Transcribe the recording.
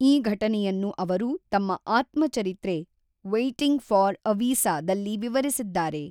ಈ ಘಟನೆಯನ್ನು ಅವರು ತಮ್ಮ ಆತ್ಮಚರಿತ್ರೆ ‘ವೈಟಿಂಗ್ ಫಾರ್ ಎ ವೀಸಾ’ದಲ್ಲಿ ವಿವರಿಸಿದ್ದಾರೆ.